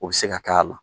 O bɛ se ka k'a la